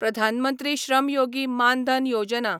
Pradhan Mantri Shram Yogi Maan Dhan Yojana